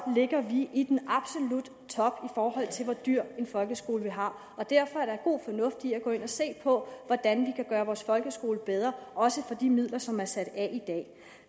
ligger vi i den absolutte top i forhold til hvor dyr en folkeskole vi har derfor er der god fornuft i at gå ind og se på hvordan vi kan gøre vores folkeskole bedre også for de midler som er sat af